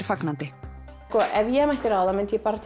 fagnandi ef ég mætti ráða myndi ég bara